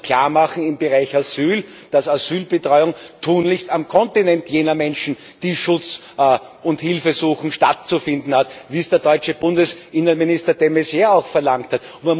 Man muss klarmachen im Bereich Asyl, dass Asylbetreuung tunlichst auf dem Kontinent jener Menschen, die Schutz und Hilfe suchen, stattzufinden hat, wie es der deutsche Innenminister de Maizière auch verlangt hat.